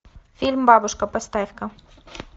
фильм бабушка поставь ка